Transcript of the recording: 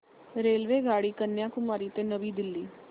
रेल्वेगाडी कन्याकुमारी ते नवी दिल्ली